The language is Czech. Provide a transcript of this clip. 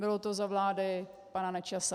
Bylo to za vlády pana Nečase.